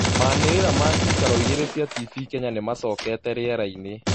manĩrĩra ma ciikaro igĩrĩ cia tibii Kenya nimacokĩte rĩerainĩ